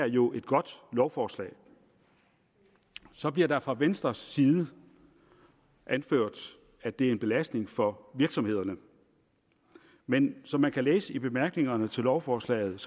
jo et godt lovforslag så bliver der fra venstres side anført at det er en belastning for virksomhederne men som man kan læse i bemærkningerne til lovforslaget